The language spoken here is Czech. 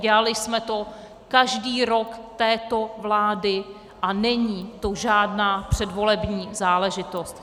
Dělali jsme to každý rok této vlády a není to žádná předvolební záležitost.